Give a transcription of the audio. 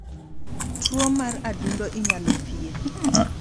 Tuo mar adundo inyalo thiedhi.